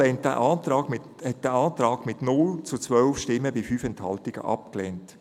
Die BaK hat diesen Antrag mit 0 zu 12 Stimmen bei 5 Enthaltungen abgelehnt.